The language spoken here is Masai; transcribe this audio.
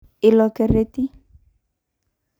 Ilo kereti.